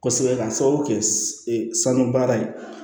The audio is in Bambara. Kosɛbɛ k'a sababu kɛ sanu baara ye